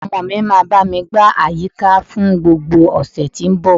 Àwọn ọmọ mi máa bá mi gbá àyíká fún gbogbo ọ̀sẹ̀ tó ń bọ̀